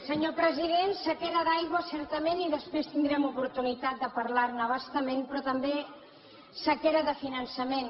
senyor president sequera d’aigua certament i després tindrem oportunitat de parlar ne a bastament però també sequera de finançament